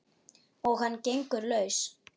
Og hann gengur laus!